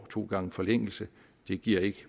to gange forlængelse det giver ikke